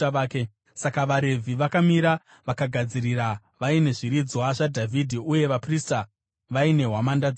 Saka vaRevhi vakamira vakagadzirira vaine zviridzwa zvaDhavhidhi uye vaprista vaine hwamanda dzavo.